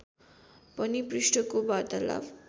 पनि पृष्ठको वार्तालाप